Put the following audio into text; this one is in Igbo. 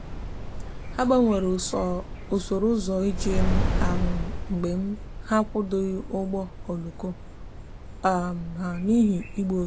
ha gbanwere usoro ụzọ njem ahụ mgbe ha ekwudoghị ụgbọ oloko ha n'ihi igbu oge.